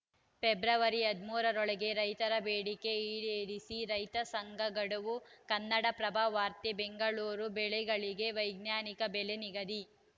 February ಹದಿಮೂರು ರೊಳಗೆ ರೈತರ ಬೇಡಿಕೆ ಈಡೇರಿಸಿ ರೈತ ಸಂಘ ಗಡುವು ಕನ್ನಡಪ್ರಭ ವಾರ್ತೆ ಬೆಂಗಳೂರು ಬೆಳೆಗಳಿಗೆ ವೈಜ್ಞಾನಿಕ ಬೆಲೆ ನಿಗದಿ